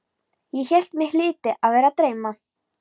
Ég hélt mig hlyti að vera að dreyma.